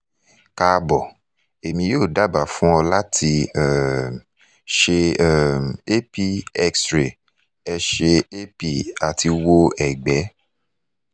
kaabo emi yoo daba fun ọ lati um ṣe um ap x-ray ẹsẹ ap ati wo ẹgbẹ